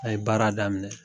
A ye baara daminɛ.